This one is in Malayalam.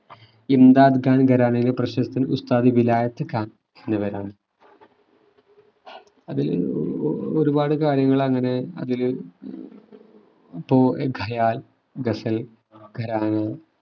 ഇന്താദ് ഖാൻ ഖരാനയിലെ പ്രശസ്തൻ ഉസ്താദ് വിലായത്ത് ഖാൻ എന്നിവരാണ് അതില് ഏർ ഒ ഒ ഒരുപാട് കാര്യങ്ങളങ്ങനെ അതില് ഹും ഇപ്പൊ ഖയാൽ ഗസൽ ഖരാന